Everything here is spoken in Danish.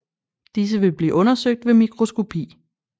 Disse vil blive undersøgt ved mikroskopi